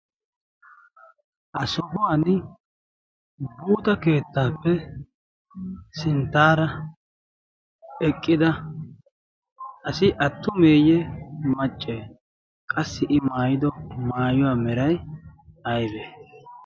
ha sohuwan buuxa keettaappe sinttaara eqqida asi attumeeyye macce qassi i maayido maayuwaa meray aybe